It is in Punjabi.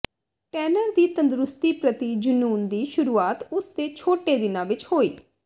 ਟੈਨਰ ਦੀ ਤੰਦਰੁਸਤੀ ਪ੍ਰਤੀ ਜਨੂੰਨ ਦੀ ਸ਼ੁਰੂਆਤ ਉਸ ਦੇ ਛੋਟੇ ਦਿਨਾਂ ਵਿੱਚ ਹੋਈ